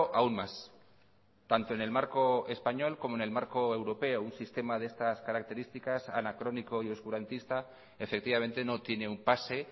aún más tanto en el marco español como en el marco europeo un sistema de estas características anacrónico y oscurantista efectivamente no tiene un pase